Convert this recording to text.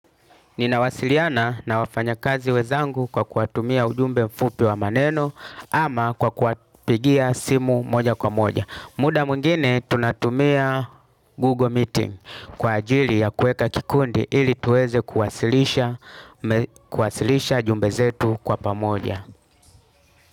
Ninawasiliana na wafanyakazi wenzangu kwa kuwatumia ujumbe mfupi wa maneno ama kwa kuwapigia simu moja kwa moja. Muda mwingine tunatumia Google Meeting kwa ajili ya kuweka kikundi ili tuweze kuwasilisha jumbe zetu kwa pamoja.